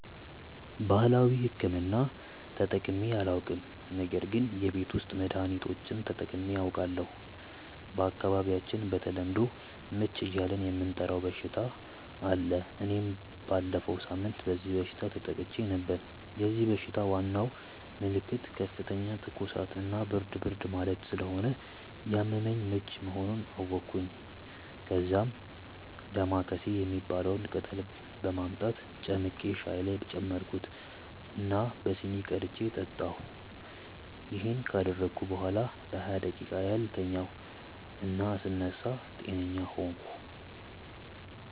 ባህላዊ ሕክምና ተጠቅሜ አላውቅም ነገር ግን የቤት ውስጥ መድሀኒቶችን ተጠቅሜ አውቃለሁ። በአካባቢያቸው በተለምዶ "ምች" እያልን የምንጠራው በሽታ አለ እና እኔም ባለፈው ሳምንት በዚህ በሽታ ተጠቅቼ ነበር። የዚህ በሽታ ዋናው ምልክት ከፍተኛ ትኩሳት እና ብርድ ብርድ ማለት ስለሆነ ያመመኝ ምች መሆኑን አወቅኩ። ከዛ "ዳማከሴ" የሚባለውን ቅጠል በማምጣት ጨምቄ ሻይ ውስጥ ጨመርኩት እና በሲኒ ቀድቼ ጠጣሁ። ይሄን ካደረግኩ በኋላ ለሃያ ደቂቃ ያህል ተኛሁ እና ስነሳ ጤነኛ ሆንኩ።